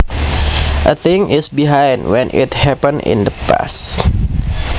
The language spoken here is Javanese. A thing is behind when it happened in the past